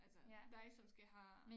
Altså dig som skal have